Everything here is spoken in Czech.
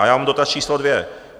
A já mám dotaz číslo dvě.